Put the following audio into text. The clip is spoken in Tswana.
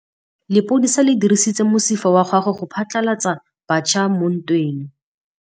Lepodisa le dirisitse mosifa wa gagwe go phatlalatsa batšha mo ntweng.